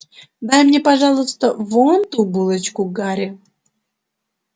дай мне пожалуйста вон ту булочку гарри